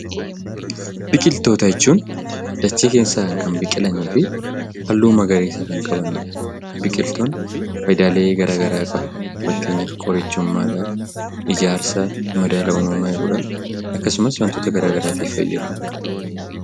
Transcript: Biqiltoota jechuun dachee keessaan kan biqilanii fi halluu magariisa kan qabanidha. Biqiltoonni faayidaalee gara garaa qabu. Fakkeenyaaf qorichummaadhaaf, ijaarsaaf, madaala uumamaa eeguudhaaf akkasumas wantoota garaa garaatiif fayyadu.